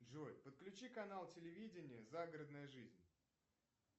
джой подключи канал телевидение загородная жизнь